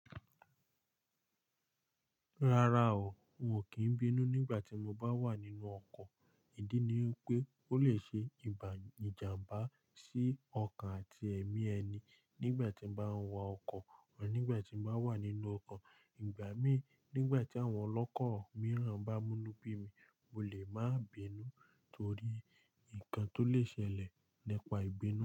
Rárá o, n o kin bínú nígbà tí mo bá wà nínú ọkọ̀. Ìdí ni wipé ó lè ṣe ìbà ìjàmbá sí ọkan àti ẹ̀mí ẹni nígbà tí n bá ń wa ọkọ̀ or nígbà tí n bá wà nínú ọkọ̀. Ìgbà mí nígbà tí àwọn ọlọ́kọ̀ mìíràn bá mú inú bí mi, mo lè máa bínú torí nǹkan tó lè ṣẹlẹ̀ nípa ìbínú.